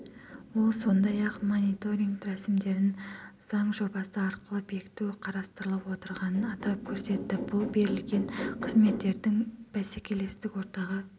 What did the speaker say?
ол сондай-ақ мониторинг рәсімдерін заң жобасы арқылы бекіту қарастырылып отырғанын атап көрсетті бұл берілгенқызметтердің бәсекелестік ортада